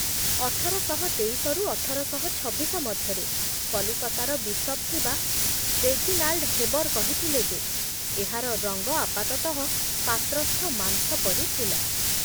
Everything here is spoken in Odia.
ଅଠରଶହତେଇଶ ରୁ ଅଠରଶହଛବିଶ ମଧ୍ୟରେ କଲିକତାର ବିଶପ୍ ଥିବା ରେଜିନାଲ୍ଡ୍ ହେବର୍ କହିଥିଲେ ଯେ ଏହାର ରଙ୍ଗ ଆପାତତଃ ପାତ୍ରସ୍ଥ ମାଂସ ପରି ଥିଲା।